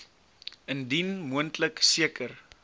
indien moontlik seker